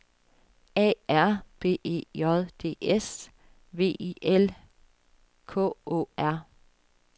A R B E J D S V I L K Å R